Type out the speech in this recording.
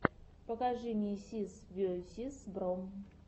покажи мне сис весиз бро